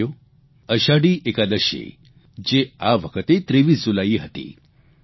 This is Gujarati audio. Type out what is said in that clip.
સાથીઓ અષાઢી એકાદશી જે આ વખતે 23 જુલાઇએ હતી